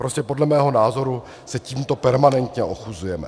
Prostě podle mého názoru se tímto permanentně ochuzujeme.